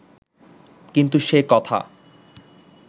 কিন্তু সে কথা